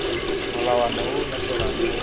molawana o o latelang mo